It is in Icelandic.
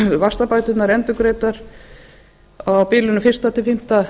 fái vaxtabæturnar endurgreiddar á bilinu fyrstu til fimmta